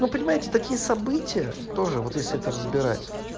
вы понимаете такие события тоже вот если это разбирать